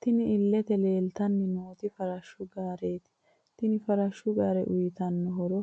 Tinni illete leelitanni nooti farshu gaareti Tini farashu gaare uyitano horro